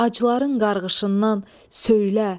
Acıların qarğışından söylə,